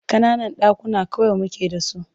Ƙananan ɗakuna kawai muke da su.